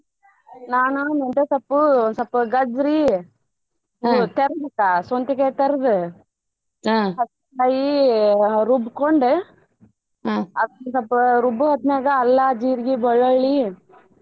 ನಾನು ಮೆಂತೆ ಸೊಪ್ಪು ಸ್ವಲ್ಪ ಗಜ್ರಿ ರುಬ್ಬ್ಕೊಂಡು ಅದಕ್ಕ ಸ್ವಲ್ಪ ರುಬ್ಬು ಹೊತ್ತನ್ಯಾಗ ಅಲ್ಲಾ, ಜೀರ್ಗಿ, ಬೆಳ್ಳುಳ್ಳಿ.